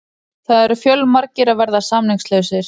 Það eru fjölmargir að verða samningslausir.